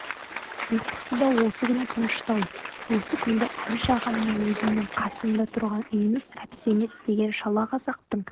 ұйқысы да осы күні тыныштау осы күнде әбіш ағам өзімнің қасымда тұрған үйіміз әбсемет деген шалақазақтың